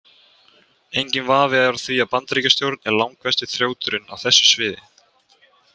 Enginn vafi er á því að Bandaríkjastjórn er langversti þrjóturinn á þessu sviði.